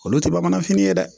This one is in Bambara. Olu tɛ bamananfin ye dɛ